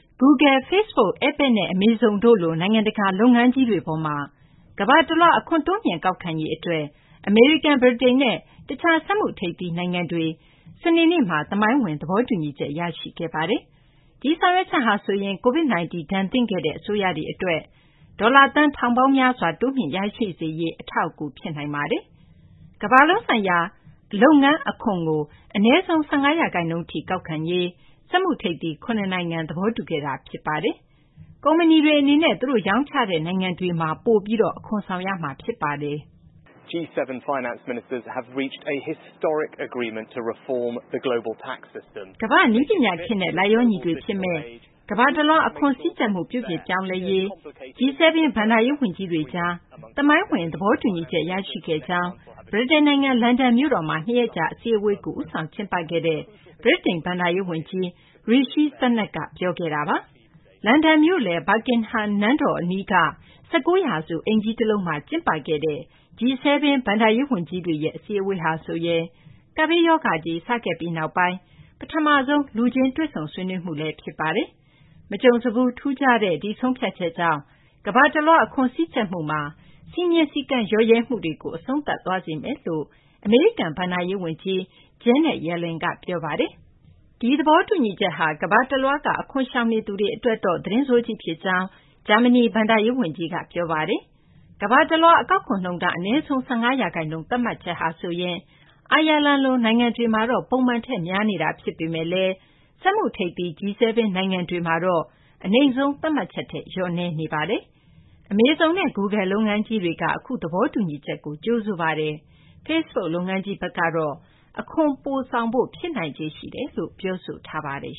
Google, Facebook, Apple နဲ့ Amazon တို့လို နိုင်ငံတကာ လုပ်ငန်းကြီးတွေ အပေါ်မှာ ကမ္ဘာတလွှား အခွန်တိုးမြှင့်ကောက်ခံရေးအတွက် အမေရိကန်၊ ဗြိတိန်နဲ့ တခြား စက်မှုထိပ်သီးနိုင်ငံတွေ စနေနေ့မှာ သမိုင်းဝင် သဘောတူညီချက် ရရှိခဲ့ပါတယ်။ ဒီဆောင်ရွက်ချက်ဟာဆိုရင် COVID-19 ဒဏ်သင့်ခဲ့တဲ့ အစိုးရတွေအတွက် ဒေါ်လာ သန်းထောင်ပေါင်းများစွာ တိုးမြှင့်ရရှိစေရေး အထောက်အကူ ဖြစ်နိုင်ပါတယ်။ ကမ္ဘာလုံးဆိုင်ရာ လုပ်ငန်းအခွန်ကို အနည်းဆုံး ၁၅ ရာခိုင်နှုန်းထိ ကောက်ခံရေး စက်မှုထိပ်သီး ၇ နိုင်ငံ သဘောတူခဲ့တာ ဖြစ်ပါတယ်။ ကုမ္ပဏီတွေအနေနဲ့ သူတို့ ရောင်းချတဲ့ နိုင်ငံတွေမှာ ပိုပြီး အခွန်ဆောင်ရမှာလည်း ဖြစ်ပါတယ်။ “ကမ္ဘာ့နည်းပညာခေတ်နဲ့ လိုက်လျောညီထွေဖြစ်မယ့် ကမ္ဘာတလွှား အခွန်စည်းကြပ်မှု ပြုပြင်ပြောင်းလဲရေး G-7 ဘဏ္ဍာရေးဝန်ကြီးတွေကြား သမိုင်းဝင် သဘောတူညီချက် ရရှိခဲ့ကြောင်း” ဗြိတိန်နိုင်ငံ လန်ဒန်မြို့တော်မှာ ၂ ရက်ကြာ အစည်းအဝေးကို ဦးဆောင်ကျင်းပခဲ့တဲ့ ဗြိတိန် ဘဏ္ဍာရေးဝန်ကြီး Rishi Sunak က ပြောခဲ့တာပါ။ လန်ဒန်မြို့လယ် Buckingham နန်းတော်အနီးက ၁၉ ရာစု အိမ်ကြီးတလုံးမှာ ကျင်းပခဲ့တဲ့ G-7 ဘဏ္ဍာရေးဝန်ကြီးတွေရဲ့ အစည်းအဝေးဟာဆိုရင် ကပ်ဘေးရောဂါကြီး စခဲ့ပြီးနောက်ပိုင်း ပထမဆုံး လူချင်းတွေ့ဆုံ ဆွေးနွေးမှုလည်း ဖြစ်ပါတယ်။ မကြုံစဘူး ထူးခြားတဲ့ ဒီဆုံးဖြတ်ချက်ကြောင့် ကမ္ဘာတလွှား အခွန်စည်းကြပ်မှုမှာ စည်းမျဉ်းစည်းကမ်း လျော့ရဲမှုတွေကို အဆုံးသတ်သွားစေမယ်လို့ အမေရိကန် ဘဏ္ဍာရေးဝန်ကြီး Janet Yellen က ပြောပါတယ်။ ဒီသဘောတူညီချက်ဟာ ကမ္ဘာတလွှားက အခွန်ရှောင်နေသူတွေ အတွက်တော့ သတင်းဆိုးကြီးဖြစ်ကြောင်း ဂျာမနီ ဘဏ္ဍာရေးဝန်ကြီး Olaf Scholz က ပြောပါတယ်။ ကမ္ဘာတလွှား အကောက်ခွန်နှုန်းထား အနည်းဆုံး ၁၅ ရာခိုင်နှုန်း သတ်မှတ်ချက်ဟာဆိုရင် အိုင်ယာလန်လို နိုင်ငံတွေမှာတော့ ပုံမှန်ထက် များနေတာ ဖြစ်ပေမယ့်လည်း စက်မှုထိပ်သီး G-7 နိုင်ငံတွေမှာတော့ အနိမ့်ဆုံး သတ်မှတ်ချက်ထက် နည်းပါးနေတာပါ။ Amazon နဲ့ Google လုပ်ငန်းကြီးတွေက အခုသဘောတူညီချက်ကို ကြိုဆိုပါတယ်။ Facebook လုပ်ငန်းကြီးဘက်ကတော့ အခွန်ပိုဆောင်ဖို့ ဖြစ်နိုင်ခြေရှိတယ်လို့ ပြောဆိုထားပါတယ်